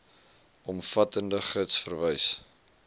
omvattende gids verwys